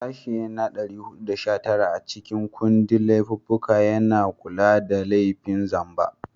Sashe na 419 a cikin kundin laifuffuka yana kula da laifin zamba.